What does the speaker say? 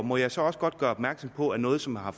må jeg så også godt gøre opmærksom på noget som har